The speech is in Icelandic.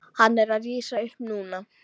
Hann er að rísa upp núna.